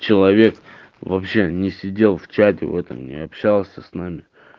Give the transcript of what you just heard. человек вообще не сидел в чате в этом не общался с нами